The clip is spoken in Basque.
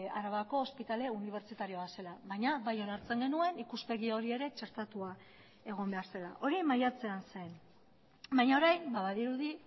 arabako ospitale unibertsitarioa zela baina bai onartzen genuen ikuspegi hori ere txertatua egon behar zela hori maiatzean zen baina orain badirudi